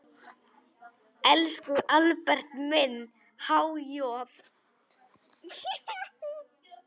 Elsku Albert minn, há joð.